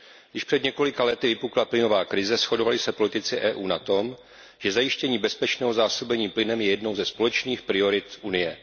Když před několika lety vypukla plynová krize, shodovali se politici EU na tom, že zajištění bezpečného zásobení plynem je jednou ze společných priorit Unie.